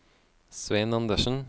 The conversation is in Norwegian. Svein Andersen